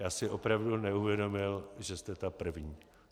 Já si opravdu neuvědomil, že jste ta první.